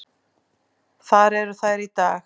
Þar eru þær í dag.